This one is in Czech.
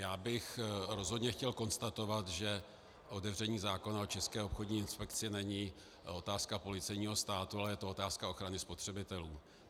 Já bych rozhodně chtěl konstatovat, že otevření zákona o České obchodní inspekci není otázka policejního státu, ale je to otázka ochrany spotřebitelů.